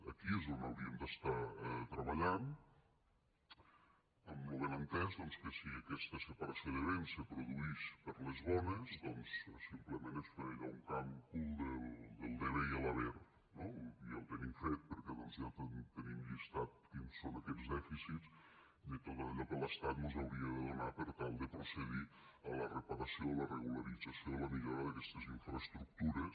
aquí és on hauríem d’estar treballant amb lo benentès que si aquesta separació de béns se produïx per les bones doncs simplement és fer allò un càlcul del debe què doncs ja tenim llistat quins són aquests dèficits de tot allò que l’estat mos hauria de donar per tal de procedir a la reparació a la regularització a la millora d’aquestes infraestructures